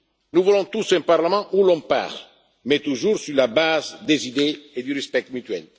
Nous voulons tous un Parlement où l'on parle, mais toujours sur la base des idées et du respect mutuel.